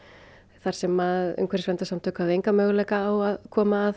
þar sem umhverfisverndarsamtök höfðu engan möguleika á að koma að